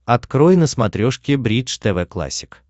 открой на смотрешке бридж тв классик